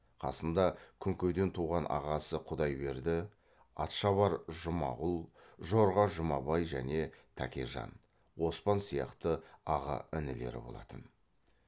қасында күнкеден туған ағасы құдайберді атшабар жұмағұл жорға жұмабай және тәкежан оспан сияқты аға інілері болатын